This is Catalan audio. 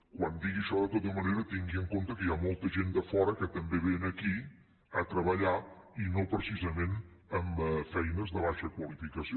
quan digui això de tota manera tingui en compte que hi ha molta gent de fora que també ve aquí a treballar i no precisament en feines de baixa qualificació